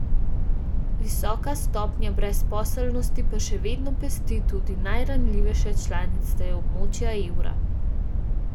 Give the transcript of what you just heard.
Visoka stopnja brezposelnosti pa še vedno pest tudi najranljivejše članice območja evra.